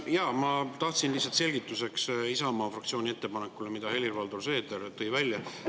Ma tahtsin lihtsalt selgituseks Isamaa fraktsiooni ettepaneku kohta, mille Helir-Valdor Seeder välja tõi.